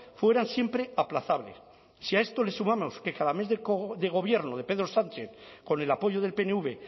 fueran siempre aplazables si a esto le sumamos que cada mes de gobierno de pedro sánchez con el apoyo del pnv